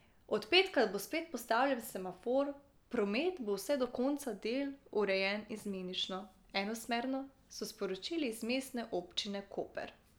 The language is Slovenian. Od petka bo spet postavljen semafor, promet bo vse do konca del urejen izmenično enosmerno, so sporočili iz Mestne občine Koper.